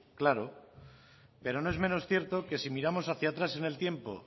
claro pero no es menor cierto que si miramos hacia atrás en el tiempo